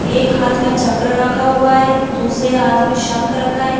एक हाथ में चक्र रखा हुआ है दूसरे हाथ में शंख रखा है।